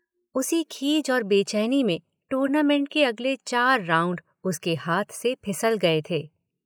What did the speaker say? उसी खीज और बेचैनी में टूर्नामेंट के अगले चार राउंड उसके हाथ से फिसल गए थे।